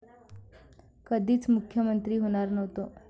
कधीच मुख्यमंत्री होणार नव्हतो'